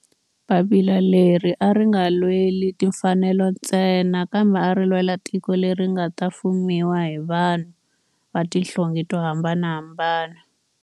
Papila leri a ri nga lweli timfanelo ntsena kambe ari lwela tiko leri nga ta fumiwa hi vanhu va tihlonge to hambanahambana.